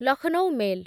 Lucknow mail